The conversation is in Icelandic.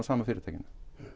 sama fyrirtækinu